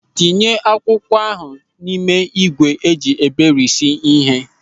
Tinye akwụkwọ ahụ n'ime ígwè eji eberisi ịhe.